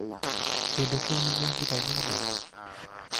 kĩndũ kĩu nĩgĩathira gĩothe